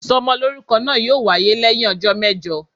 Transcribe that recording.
isómolorúkó naa yọọ wayé leyin òjó mejò.